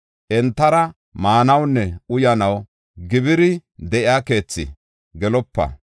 “Entara maanawunne uyanaw gibiri de7iya keethi gelopa.